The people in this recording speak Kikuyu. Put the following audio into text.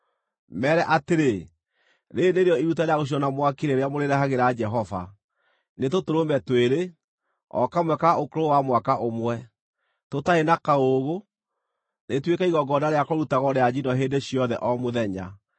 Meere atĩrĩ, ‘Rĩĩrĩ nĩrĩo iruta rĩa gũcinwo na mwaki rĩrĩa mũrĩrehagĩra Jehova: nĩ tũtũrũme twĩrĩ, o kamwe ka ũkũrũ wa mwaka ũmwe, tũtarĩ na kaũũgũ, rĩtuĩke igongona rĩa kũrutagwo rĩa njino hĩndĩ ciothe o mũthenya.